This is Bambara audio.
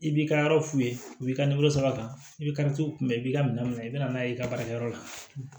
I b'i ka yɔrɔ f'u ye u b'i ka sara ka i ka t'u kunbɛn i b'i ka minɛnw minɛ i bɛna n'a ye i ka baarakɛyɔrɔ la